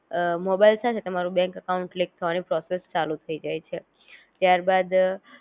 અ mobile સાથે તમારું bank account click થવાની પ્રોસેસ ચાલુ થઈ જાઇ છે